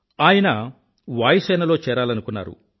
ఆయన వాయుసేనలో చేరాలనుకున్నారు